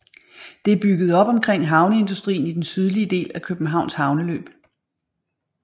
Det er bygget op omkring havneindustrien i den sydlige del af Københavns havneløb